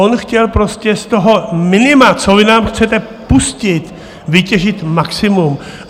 On chtěl prostě z toho minima, co vy nám chcete pustit, vytěžit maximum.